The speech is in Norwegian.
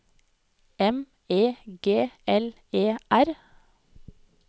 M E G L E R